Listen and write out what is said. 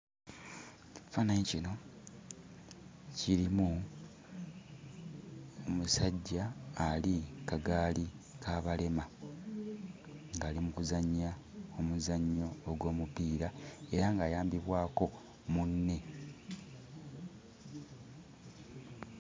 Ekifaananyi kino kirimu omusajja ali ku kagaali k'abalema ng'ali mu kuzannya omuzannyo ogw'omupiira era ng'ayambibwako munne.